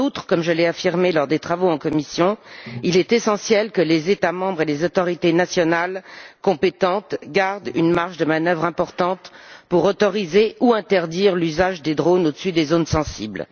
En outre, comme je l'ai affirmé lors des travaux en commission, il est essentiel que les États membres et les autorités nationales compétentes gardent une marge de manœuvre importante pour autoriser ou interdire l'usage des drones au dessus des zones sensibles.